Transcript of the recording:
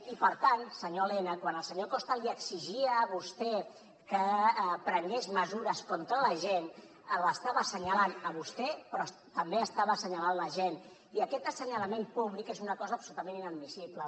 i per tant senyor elena quan el senyor costa li exigia a vostè que prengués mesures contra l’agent l’estava assenyalant a vostè però també estava assenyalant l’agent i aquest assenyalament públic és una cosa absolutament inadmissible